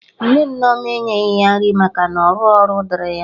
Nne Nneoma enyeghi ya nri maka na ọrụghị ọrụ dịrị ya